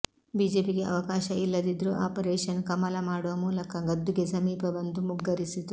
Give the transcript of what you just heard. ಬಿಜೆಪಿಗೆ ಅವಕಾಶ ಇಲ್ಲದಿದ್ರೂ ಆಪರೇಷನ್ ಕಮಲ ಮಾಡುವ ಮೂಲಕ ಗದ್ದುಗೆ ಸಮೀಪ ಬಂದು ಮುಗ್ಗರಿಸಿತು